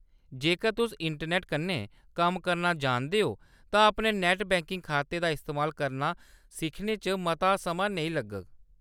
जेकर तुस इंटरनैट्ट कन्नै कम्म करना जानदे ओ, तां अपने नैट्ट बैंकिंग खाते दा इस्तेमाल करना सिक्खने च मता समां नेईं लग्गग।